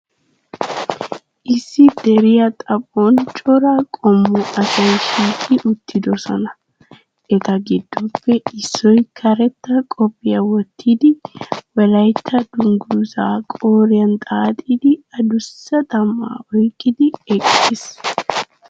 Issi deriya xaphon cora qommo asay shiiqi uttidoosona. Eta giddoppe issoy karetta qophiya wottidi Wolaytta dungguzzaa qooriyan xaaxidi adussa xam"aa oyqqidi eqqiis.